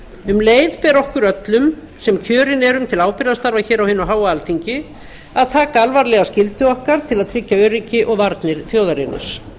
um leið ber okkur öllum sem kjörin erum til ábyrgðarstarfa hér á hinu háa alþingi að taka alvarlega skyldu okkar til að tryggja öryggi og varnir þjóðarinnar